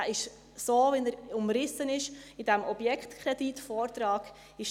Er ist so, wie er in diesem Objektkredit-Vortrag umrissen ist;